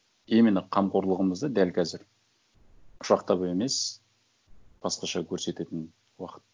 именно қамқорлығымызды дәл қазір құшақтап емес басқаша көрсететін уақыт